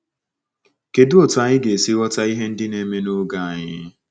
Kedụ otú anyị ga-esi ghọta ihe ndị na-eme n’oge anyị?